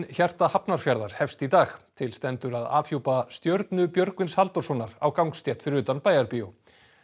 hjarta Hafnarfjarðar hefst í dag til stendur að afhjúpa stjörnu Björgvins Halldórssonar á gangstétt fyrir utan Bæjarbíó